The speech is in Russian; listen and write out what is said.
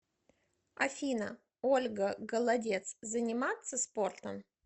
афина ольга голодец заниматся спортом